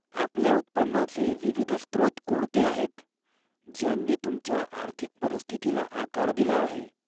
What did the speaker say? आपल्या उत्पन्नाचे विविध स्त्रोत कोणते आहेत, ज्यांनी तुमच्या आर्थिक परिस्थितीला आकार दिला आहे?